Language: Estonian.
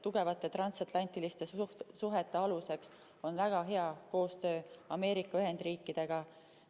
Tugevate transatlantiliste suhete aluseks on väga hea koostöö Ameerika Ühendriikidega.